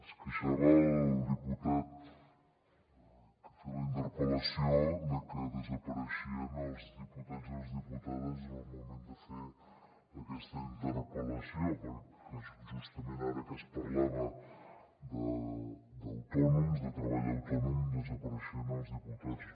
es queixava el diputat que ha fet la interpel·lació de que desapareixien els diputats i les diputades en el moment de fer aquesta interpel·lació que justament ara que es parlava d’autònoms de treball autònom desapareixien els diputats